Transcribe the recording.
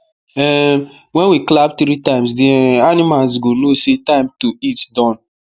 um wen we clap three times the um animals go know say time to eat don